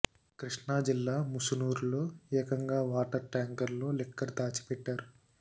కృష్ణా జిల్లా ముసునూరులో ఏకంగా వాటర్ ట్యాంకర్ లో లిక్కర్ దాచిపెట్టారు